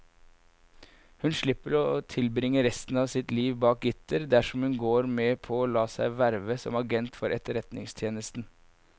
Hun slipper å tilbringe resten av sitt liv bak gitter dersom hun går med på å la seg verve som agent for etterretningstjenesten.